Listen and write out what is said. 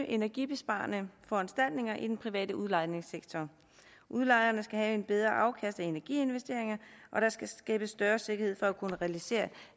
energibesparende foranstaltninger i den private udlejningssektor udlejerne skal have et bedre afkast af energiinvesteringer og der skal skabes større sikkerhed for at kunne realisere